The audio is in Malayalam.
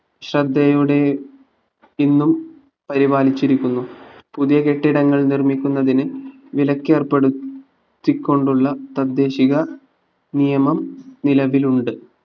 ശ്രദ്ധയോടെ ഇന്നും പരിപാലിച്ചിരിക്കുന്നു പുതിയ കെട്ടിടങ്ങൾ നിർമ്മിക്കുന്നത്തിന് വിലക്ക് ഏർപ്പെടുത്തി കൊണ്ടുള്ള തദ്ദേശീക നിയമം നിലവിലുണ്ട്